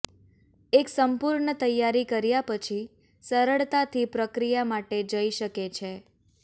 એક સંપૂર્ણ તૈયારી કર્યા પછી સરળતાથી પ્રક્રિયા માટે જઈ શકે છે